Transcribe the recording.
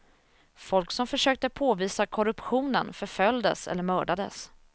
Folk som försökte påvisa korruptionen förföljdes eller mördades.